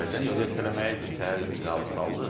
Yox, ertələməyi bir təhər razı saldıq.